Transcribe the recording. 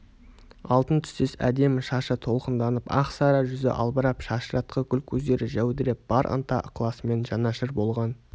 алтын түстес әдемі шашы толқынданып ақсары жүзі албырап шашыратқы гүл көздері жәудіреп бар ынта-ықыласымен жанашыр болған